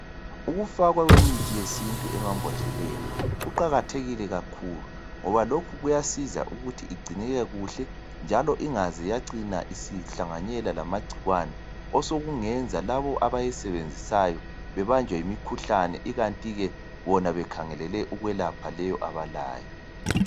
Ukufakwa kwemithi yesintu emabhodleni kuqakathekile kakhulu. Loba lokhu ukuthi igcineke kuhle njalo ingaze yacina isihlanganyela lamagcikwane . Osokungenza labo abayisebenzisayo bebanjwe yimikhuhlane ikantike bona bekhangelele ukwelapha leyo abalayo.